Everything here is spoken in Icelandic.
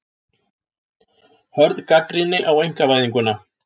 Hörð gagnrýni á einkavæðinguna